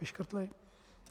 Vyškrtli?